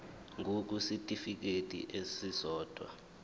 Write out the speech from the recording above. ngur kwisitifikedi esisodwa